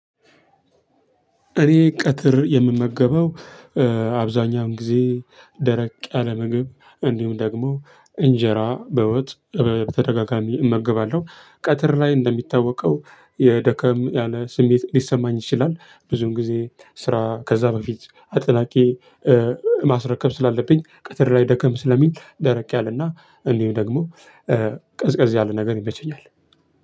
እኔ ቀትር የምመገበው አብዛኛውን ጊዜ ደረቅ ያለ ምግብ እንዲሁም ደግሞ እንጀራ በወጥ በተደጋጋሚ እመገባለሁ። ቀትር ላይ እንደሚታወቀው የደከም ያለ ስሜት ሊሰማኝ ይችላል። ብዙን ጊዜ ስራ ከዛ በፊት አጠናቅቄ ማስረከብ ስላለብኝ ቀትር ላይ ደከም ስለሚል ደረቅ ያለና እንዲሁ ደግሞ ቀዝቀዝ ያለ ነገር ይመቸኛል።